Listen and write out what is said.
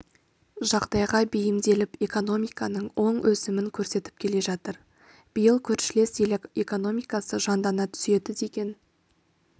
жағдайға бейімделіп экономиканың оң өсімін көрсетіп келе жатыр биыл көршілес ел экономикасы жандана түседі деген